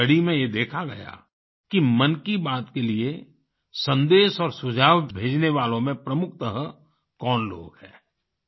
इस स्टडी में ये देखा गया कि मन की बात के लिए सन्देश और सुझाव भेजने वालों में प्रमुखत कौन लोग हैं